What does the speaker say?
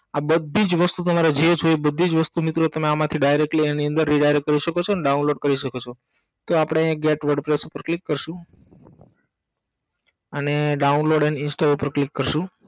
આઅ બધીજ વસ્તુ તમારે જે જોઈએ એ બધીજ વસ્તુ મિત્રો તમે આમાંથી directly આની અંદર કરી સકો છો અને download કરી સકો છો તો આપણે અહી get wordpress ઉપર click કારસુ અને download અને install ઉપેર click કરસું